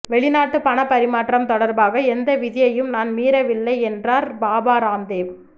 வெளிநாட்டு பண பரிமாற்றம் தொடர்பாக எந்த விதியையும் நான் மீறவில்லை என்றார் பாபா ராம்தேவ்